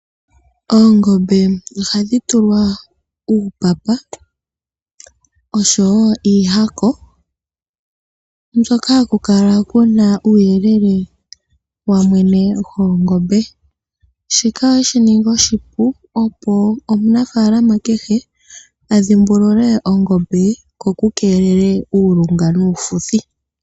Oongombe oha dhi tulwa uupapa osho woo iihako mbyoka ha kukala kuna uuyelele wamwene goOngombe shika shi ninge oshipu opo omunafaalama kehe adhimbulule Ongombe ye ko ku keelelwe uulunga nuufuthi.